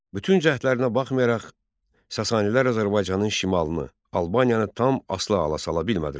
Bütün cəhdlərinə baxmayaraq, Sasanilər Azərbaycanın şimalını, Albaniyanı tam asılı hala sala bilmədilər.